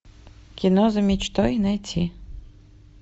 кино за мечтой найти